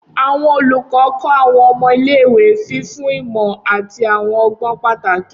Awọn olukọ kọ awọn ọmọ ile-iwe, fifun imọ ati awọn ọgbọn pataki.